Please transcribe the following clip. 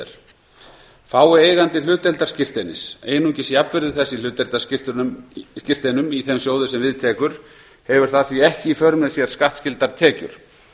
er fái eigandi hlutdeildarskírteinis einungis jafnvirði þess í hlutdeildarskírteinum í þeim sjóði sem við tekur hefur það því ekki í för með sér skattskyldar tekjur